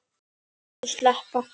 Viltu sleppa!